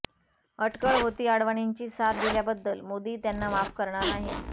अटकळ होती अडवाणींची साथ दिल्याबद्दल मोदी त्यांना माफ करणार नाहीत